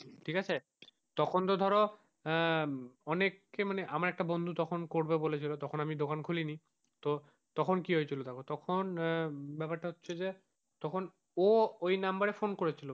ঠিক আছে তখন তো ধরো আহ অনেককে মানে আমার একটা বন্ধু তখন করবে বলেছিল তখন আমি দোকান খুলিনি তো তখন কি হয়েছিল তখন, তখন ব্যাপারটা হচ্ছে যে তখন ও ওই নাম্বারে ফোন করেছিল।